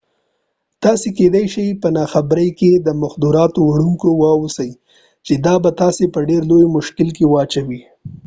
تاسې کیدای شئ په ناخبرۍ کې د مخدراتو وړونکي واوسئ چې دا به تاسې په ډیر لوی مشکل کې واچوي